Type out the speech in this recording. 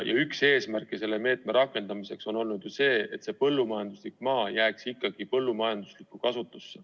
Üks eesmärke selle meetme rakendamiseks on olnud ju see, et põllumajanduslik maa jääks ikkagi põllumajanduslikku kasutusse.